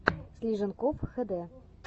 слиженков хд